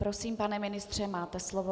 Prosím, pane ministře, máte slovo.